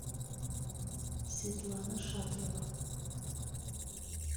светлана шатрова